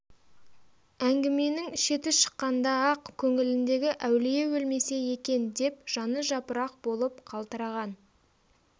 әңгіменің шеті шыққанда-ақ көңіліндегі әулие өлмесе екен деп жаны жапырақ болвп қалтыраған